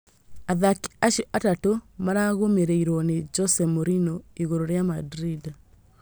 Athaki acio atatũ maragũmĩrĩirwo ni Jose Mourinho igũrũ rĩa Madrid